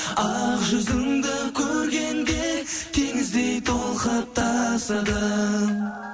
ақ жүзіңді көргенде теңіздей толқып тасыдым